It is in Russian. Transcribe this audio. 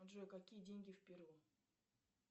джой какие деньги в перу